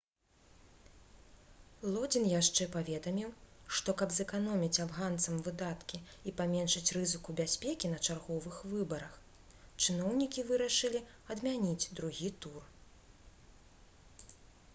лодзін яшчэ паведаміў што каб зэканоміць афганцам выдаткі і паменшыць рызыку бяспекі на чарговых выбарах чыноўнікі вырашылі адмяніць другі тур